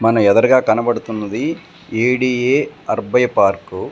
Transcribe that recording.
మన ఎదరగా కనబడుతున్నది ఎ_డి_ఎ అర్బై పార్కు .